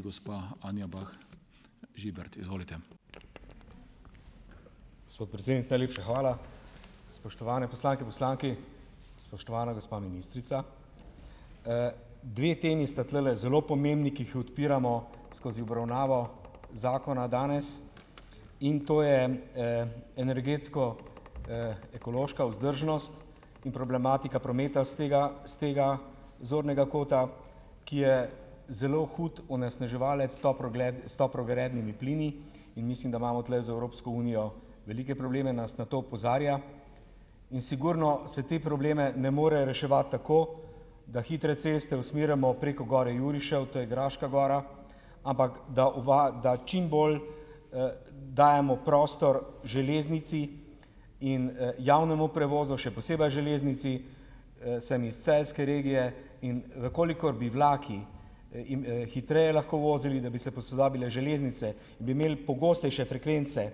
Gospod predsednik, najlepša hvala. Spoštovane poslanke, poslanki, spoštovana gospa ministrica. dve temi sta tulele zelo pomembni, ki ju odpiramo skozi obravnavo zakona danes, in to je, energetsko, ekološka vzdržnost in problematika prometa s tega, s tega zornega kota, ki je zelo hud onesnaževalec s toplogrednimi plini in mislim, da imamo tule z Evropsko unijo velike probleme, nas na to opozarja. In sigurno se te probleme ne more reševati tako, da hitre ceste usmerjamo preko gor Jurišev, to je Graška gora, ampak, da da čim bolj, dajemo prostor železnici in, javnemu prevozu, še posebej železnici. sem iz celjske regije, in v kolikor bi vlaki, hitreje lahko vozili, da bi se posodobile železnice, bi imel pogostejše frekvence,